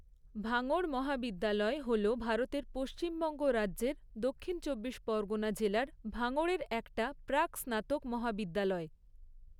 ভাঙড় মহাবিদ্যালয় হল ভারতের পশ্চিমবঙ্গ রাজ্যের দক্ষিণ চব্বিশ পরগনা জেলার ভাঙড়ের একটা প্রাক স্নাতক মহাবিদ্যালয়।